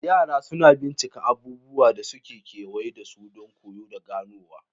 Yara suna bincika abubuwan da suke kewaye da su don koyo da ganowa.